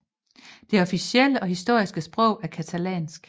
Det officielle og historiske sprog er catalansk